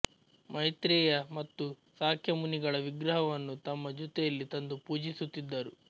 ಮೈತ್ರೇಯ ಮತ್ತು ಸಾಕ್ಯಮುನಿಗಳ ವಿಗ್ರಹವನ್ನು ತಮ್ಮ ಜೊತೆಯಲ್ಲಿ ತಂದು ಪೂಜಿಸುತ್ತಿದ್ದರು